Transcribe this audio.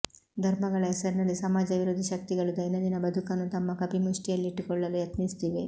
ಧರ್ಮಗಳ ಹೆಸರಿನಲ್ಲಿ ಸಮಾಜವಿರೋಧಿ ಶಕ್ತಿಗಳು ದೈನಂದಿನ ಬದುಕನ್ನು ತಮ್ಮ ಕಪಿಮುಷ್ಟಿಯಲ್ಲಿಟ್ಟುಕೊಳ್ಳಲು ಯತ್ನಿಸುತ್ತಿವೆ